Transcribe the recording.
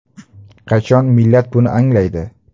Qachon millat buni anglaydi?